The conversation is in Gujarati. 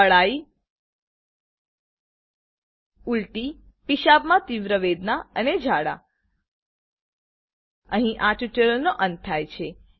અળાઈ ઉલટી પીશાબમાં તીવ્ર વેદના અને ઝાડા અહી આ ટ્યુટોરીયલનો અંત થાય છે